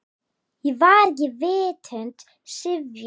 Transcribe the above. Ég var ekki vitund syfjuð.